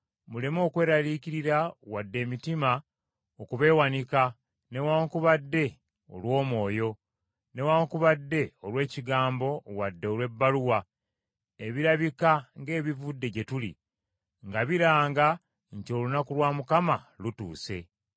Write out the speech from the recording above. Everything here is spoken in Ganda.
muleme okweraliikirira wadde emitima okubeewanika newaakubadde olw’omwoyo, newaakubadde olw’ekigambo wadde olw’ebbaluwa, ebirabika ng’ebivudde gye tuli, nga biranga nti olunaku lwa Mukama lutuuse.